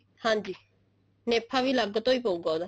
ਹਾਂਜੀ ਨੇਫਾ ਵੀ ਅਲੱਗ ਤੋਂ ਪਉਗਾ ਉਹਦਾ